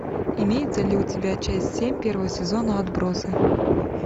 имеется ли у тебя часть семь первого сезона отбросы